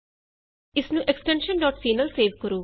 ਇਸਨੂੰ extension C extension C ਨਾਲ save ਕਰੋ